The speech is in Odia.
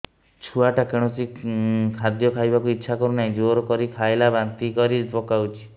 ଛୁଆ ଟା କୌଣସି ଖଦୀୟ ଖାଇବାକୁ ଈଛା କରୁନାହିଁ ଜୋର କରି ଖାଇଲା ବାନ୍ତି କରି ପକଉଛି